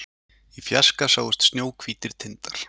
Í fjarska sáust snjóhvítir tindar